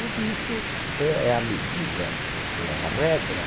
O risco é é a medida, é a regra.